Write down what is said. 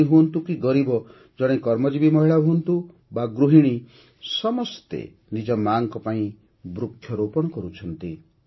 ଧନୀ ହୁଅନ୍ତୁ କି ଗରିବ ଜଣେ କର୍ମଜୀବି ମହିଳା ହୁଅନ୍ତୁ ବା ଗୃହିଣୀ ସମସ୍ତେ ନିଜ ମା'ଙ୍କ ପାଇଁ ବୃକ୍ଷରୋପଣ କରୁଛନ୍ତି